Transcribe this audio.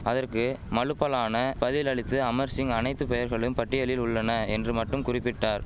அதற்கு மழுப்பலான பதில் அளித்த அமர்சிங் அனைத்து பெயர்களும் பட்டியலில் உள்ளன என்று மட்டும் குறிபிட்டார்